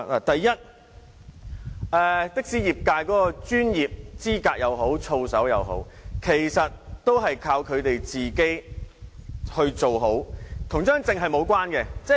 第一，的士業界的專業資格或操守，全靠業內人士自律，根本與證件無關。